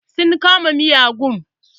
Sun kama miyagun.